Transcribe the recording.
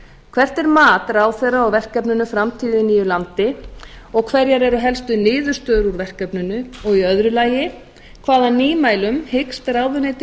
hvert er mat ráðherra á verkefninu framtíð í nýju landi og hverjar eru helstu niðurstöður úr verkefninu og í öðru lagi hvaða nýmælum hyggst ráðuneytið